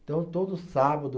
Então todo sábado.